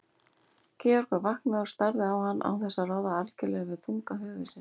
Georg var vaknaður og starði á hann án þess að ráða algjörlega við þunga höfuðsins.